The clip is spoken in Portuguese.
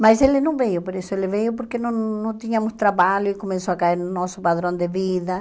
Mas ele não veio, por isso ele veio, porque não não tínhamos trabalho e começou a cair no nosso padrão de vida.